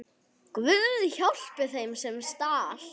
Guð, hjálpi þeim, sem stal!